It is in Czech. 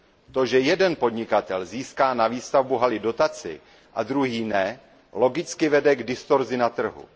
To, že jeden podnikatel získá na výstavbu haly dotaci a druhý ne, logicky vede k distorzi na trhu.